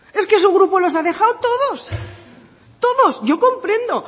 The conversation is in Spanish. es que su grupo los ha dejado todos todos yo comprendo